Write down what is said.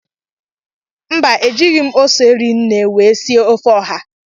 Mba, ejighị m ose rii nne wee sie ofe oha.